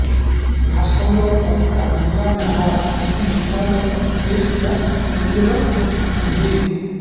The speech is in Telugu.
రాష్ట్రంలో ఒక్క జిల్లా మినహా అన్ని జిల్లాలోనూ కేసుల వెల్లువ కనిపించింది